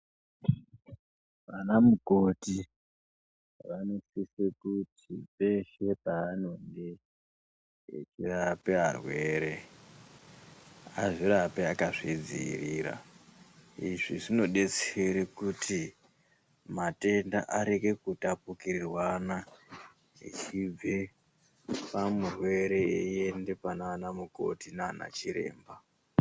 Vana mukoti vanosisa kuti peshe pavanenge arape aware. Azvirape akazvidziirira. Izvi zvinodetsera kuti matenda arege kutapukirwana achibve pamurwere einda panana mukoti naana chiremba.